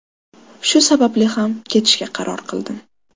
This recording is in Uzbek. Shu sababli ham ketishga qaror qildim.